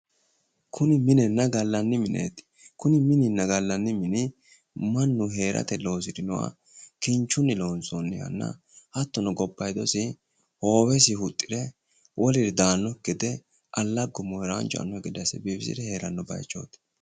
Kuni minenna gallanni mineeti kuni mininna gallanni mini mannu heerate loosirinoha kinchunni loonsoonnihanna hattono gobbayiidosi hoowesi huxxire woliri daannokki gede allaggunna mooranchu e"annokki gede assire biifisire heeranno bayiichooti